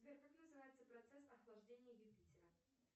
сбер как называется процесс охлаждения юпитера